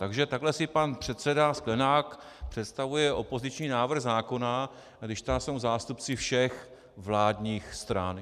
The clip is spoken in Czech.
Takže takhle si pan předseda Sklenák představuje opoziční návrh zákona, když tam jsou zástupci všech vládních stran.